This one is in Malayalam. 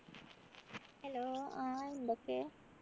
hello ആഹ് എന്തൊക്കെ